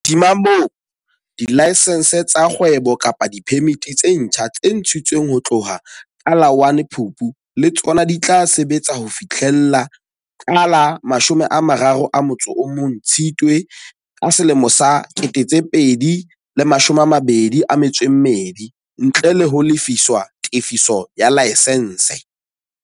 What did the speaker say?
Hodima moo, dilaesense tsa kgwebo kapa diphemiti tse ntjha tse ntshi tsweng ho tloha ka la 1 Phupu le tsona di tla sebetsa ho fihlela ka la 31 Tshitswe 2022, ntle le ho lefiswa tefiso ya laesense.